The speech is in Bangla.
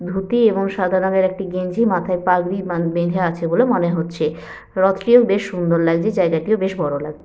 ধুতি এবং সাদা রঙের একটি গেঞ্জি মাথায় পাগড়ি বাঁ বাঁধে আছে বলে মনে হচ্ছে। রথটিও বেশ সুন্দর লাগছে। জায়গাটিও বেশ বড় লাগ--